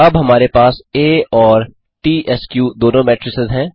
अब हमारे पास आ और त्स्क दोनों मेट्रिसेस हैं